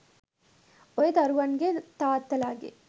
ඔය දරුවන්ගෙ තාත්තලගෙ